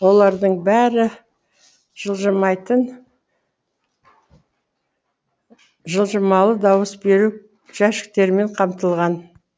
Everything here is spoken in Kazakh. олардың бәрі жылжымалы дауыс беру жәшіктерімен қамтылған